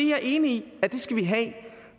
jeg enig i at vi skal have